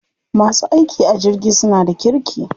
Masu aiki a jirgi suna da kirki.